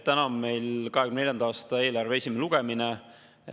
Täna on meil 2024. aasta eelarve esimene lugemine.